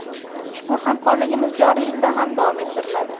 Ushbu hamkorligimiz joriy yilda ham davom ettiriladi.